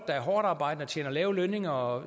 er hårdtarbejdende og har lave lønninger og